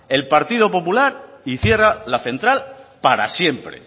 el partido popular y cierra la central para siempre